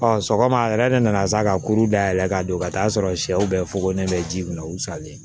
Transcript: sɔgɔma a yɛrɛ de nana sa ka kuru da yɛlɛ ka don ka taa'a sɔrɔ sɛw bɛ fokolen bɛ ji min na u salen